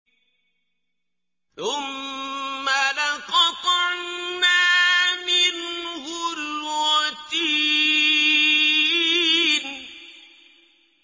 ثُمَّ لَقَطَعْنَا مِنْهُ الْوَتِينَ